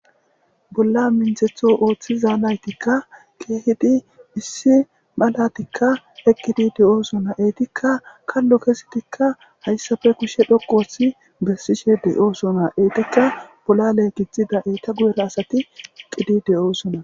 Bolla minththetho oththiza nayttika issi malati eqqidi de'osona eetika kallo kezidika hayssata kushshe dhoqqu oththidi besishe de' ossona eeta bolle gixxida eeta guyera asat eqqidi deosons.